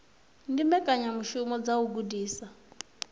ndi mbekanyamishumo dza u gudisa